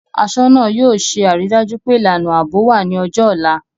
Aṣọ́nà náà yóò ṣe àrídájú pé ìlànà ààbò wà ní ọjọ́ ọ̀la